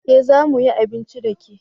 Eh za mu yi abinci da ke